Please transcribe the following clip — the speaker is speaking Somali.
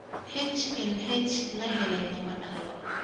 HLH la helay lama dhaxlo.